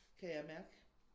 Kan jeg mærke